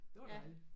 Det var dejligt